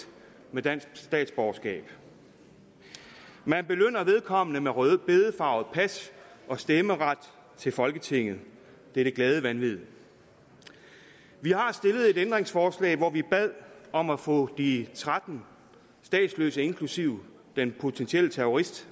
med dansk statsborgerskab man belønner vedkommende med rødbedefarvet pas og stemmeret til folketinget det er det glade vanvid vi har stillet et ændringsforslag hvor vi bad om at få de tretten statsløse inklusive den potentielle terrorist